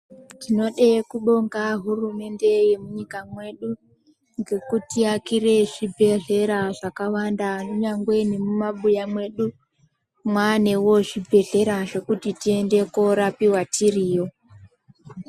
Tinode kubonga hurumende yemunyika mwedu, ngekutiakire zvibhedhlera zvakawanda kunyangwe nemumabuya mwedu mwaanewo zvibhedhlera zvekuti tiende korapiwa tiriyo.